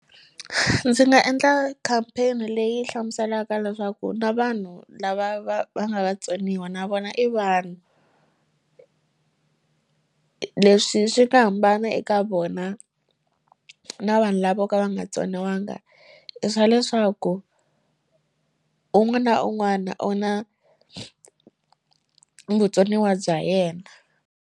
Ndzi nga endla campaign leyi hlamuselaka leswaku na vanhu lava va va nga vatsoniwa na vona i vanhu leswi swi nga hambana eka vanhu vona na vanhu lavo ka va nga tsoniwanga i swa leswaku un'wana un'wana u na vutsoniwa bya yena.